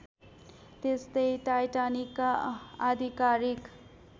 त्यस्तै टाइटानिकका आधिकारिक